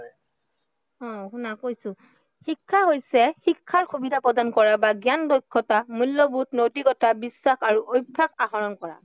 হম শুনা কৈছো। শিক্ষা হৈছে শিক্ষাৰ সুবিধা প্ৰদান কৰা বা জ্ঞান, দক্ষতা মূল্য়বোধ, নৈতিকতা, বিশ্বাস আৰু অভ্য়াস আহৰণ কৰা।